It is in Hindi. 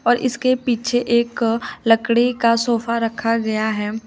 और इसके पीछे एक लकड़ी का सोफा रखा गया है।